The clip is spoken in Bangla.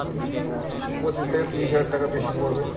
পঁচিশ থেকে তিরিশ হাজার টাকা বেশি পরবে